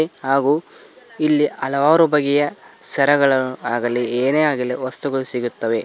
ಹಾಗೂ ಇಲ್ಲಿ ಹಲವರು ಬಗೆಯ ಸರಗಳು ಆಗಲಿ ಏನೇ ಆಗಲಿ ವಸ್ತುಗಳು ಸಿಗುತ್ತವೆ.